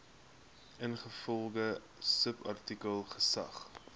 ingevolge subartikel geag